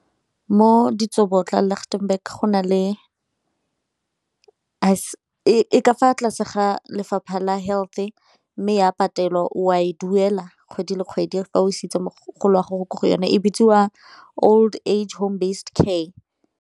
Mo Ditsobotla, Litchtenburg go na le e ka fa tlase ga lefapha la health-e, mme ya patelwa o a e duela kgwedi le kgwedi fa o isitse mogolo wa gago ko go yone e bitsiwa old age home based care.